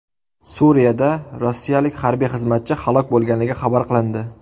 Suriyada rossiyalik harbiy xizmatchi halok bo‘lganligi xabar qilindi.